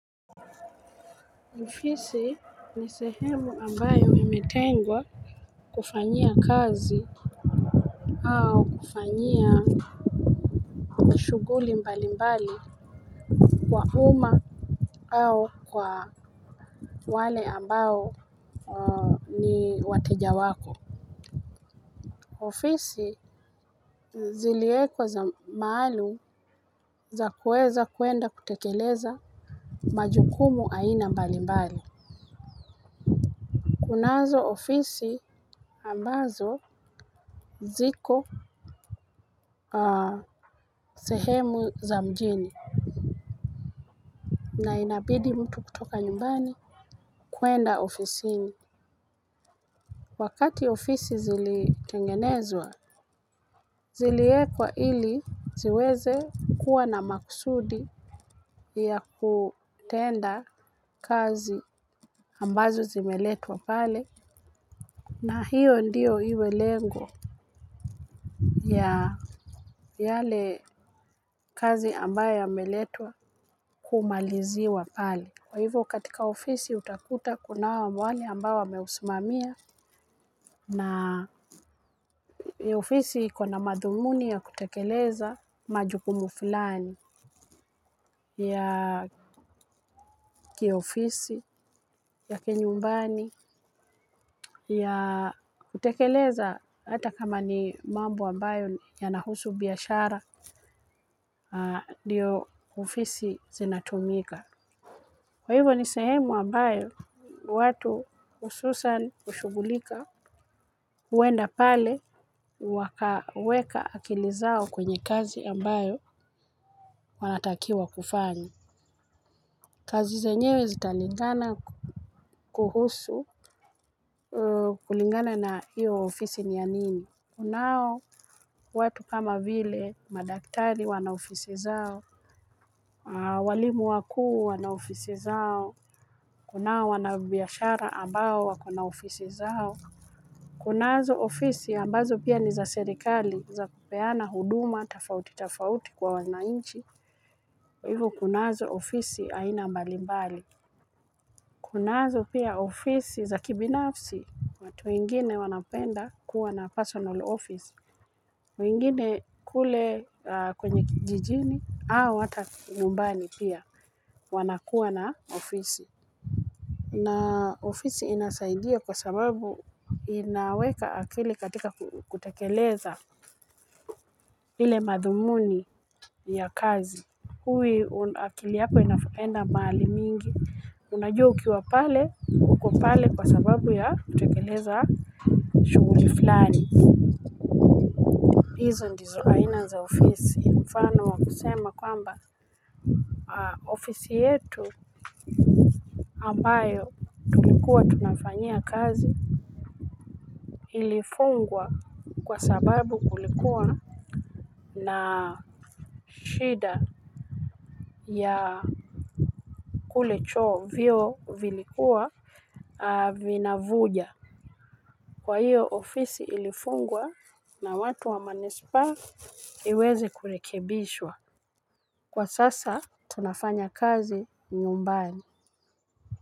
Ofisi ni sehemu ambayo imetengwa kufanyia kazi au kufanyia shughuli mbali mbali kwa uma au kwa wale ambao ni wateja wako. Ofisi ziliekwa za maalum za kueza kuenda kutekeleza majukumu aina mbali mbali. Kunazo ofisi ambazo ziko sehemu za mjini. Na inabidi mtu kutoka nyumbani kuenda ofisini. Wakati ofisi zilitengenezwa, ziliekwa ili ziweze kuwa na makusudi ya kutenda kazi ambazo zimeletwa pale. Na hiyo ndio iwe lengo ya yale kazi ambayo yameletwa kumaliziwa pale, kwa hivyo katika ofisi utakuta kunao wale ambao wameusimamia na ofisi kuna madhumuni ya kutekeleza majukumu fulani ya kiofisi, ya kinyumbani, ya kutekeleza hata kama ni mambo ambayo yana husu biashara ndio ofisi zinatumika kwa hivyo ni sehemu ambayo watu hususani hushughulika huenda pale wakaweka akili zao kwenye kazi ambayo wanatakiwa kufanya. Kazi zenyewe zitalingana kuhusu kulingana na hiyo ofisi ni ya nini? Kunao watu kama vile madaktari wana ofisi zao. Walimu wakuu wana ofisi zao. Kunao wanabiashara ambao wako na ofisi zao. Kunazo ofisi ambazo pia ni za serikali za kupeana huduma tofauti tofauti kwa wananchi. Hivyi kunazo ofisi aina mbalimbali. Kunazo pia ofisi za kibinafsi. Watu wengine wanapenda kuwa na personal office wengine kule kwenye kijijini, au hata nyumbani pia wanakuwa na ofisi. Na ofisi inasaidia kwa sababu inaweka akili katika kutekeleza ile madhumuni ya huwi kazi akili yako inaenda mahali mingi. Unajua ukiwa pale, uko pale kwa sababu ya kutekeleza shughuli fulani. Hizo ndizo aina za ofisi, mfano wa kusema kwamba ofisi yetu ambayo tulikuwa tunafanyia kazi ilifungwa kwa sababu kulikuwa na shida ya kule choo, vyoo vilikuwa vinavuja. Kwa hiyo ofisi ilifungwa na watu wa manispa iweze kurekebishwa. Kwa sasa tunafanya kazi nyumbani.